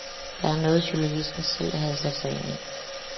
Det var noget, journalisten selv havde sat ind.